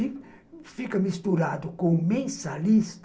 E fica misturado com mensalista,